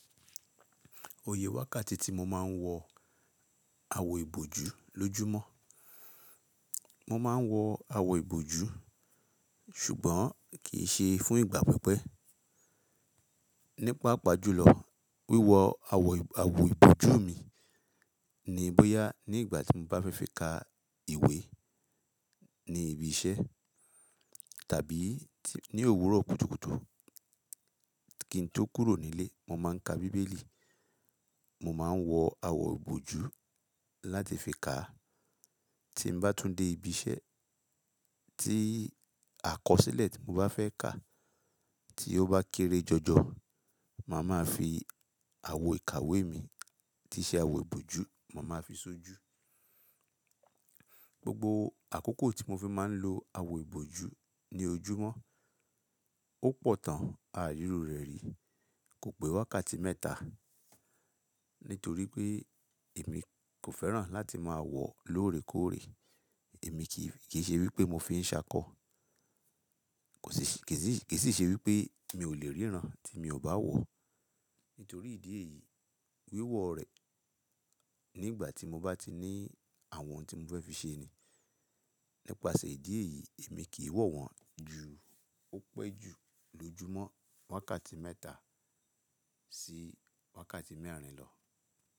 Iye wákàtí tí mo máa ń wọ àwo ìbòjú lójúmọ́. Mo máa ń wọ àwo ìbòjú ṣùgbọ́n kì í ṣe fún ìgbà pípẹ́. Nípapá jùlọ, wíwọ àwo, àwo ìbòjú mi ni bóyá ní ìgbà tí mo bá fẹ́ fi ka ìwé ní ibi iṣẹ́ tàbí ní òwúrọ̀ kùtùkùtù. Kí n tó kúrò nílé, mo máa ń ka bíbélì, mo máa ń wọ àwo ìbòjú láti fi ka. Tí mo bá tún dé ibi iṣẹ́ tí àkọsílẹ̀ tí mo bá fẹ́ kà tí ó bá kéré jọjọ, màá máa fi àwo ìkàwé mi tí ṣe àwo ìbòjú, màá máa fi sójú. Gbogbo àkókò tí mo fi máa ń lo àwo ìbòjú ní ojúmọ́, ó pọ̀ tán àári iru re ri Kò pé wákàtí mẹ́ta nítorí pé èmi kò fẹ́ràn láti máa wọ̀ lóòrèkóòrè. Èmi kì í, kì í ṣe wí pé mo fi ń ṣákọ. Kò sí ṣí, kì í ṣí, kì í sì ṣe wí pé mi ò lè ríran tí mi ò bá wọ̀. Nítorí ìdí èyí, wíwọ̀ rẹ̀ nígbà tí mo bá ti ní àwọn ohun tí mo fẹ́ fi ṣe ni. Nípasẹ̀ ìdí èyí, èmi kì í wọ̀ wọ́n ju ó pẹ́ ju lójúmọ́ wákàtí mẹ́ta sí wákàtí mẹ́rin lọ.